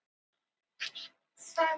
Ást, hvað heitir þú fullu nafni?